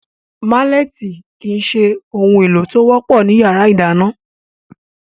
Málẹ̀tì kìí se ohun èlò tí ó wọ́pọ̀ ní yàrá ìdáná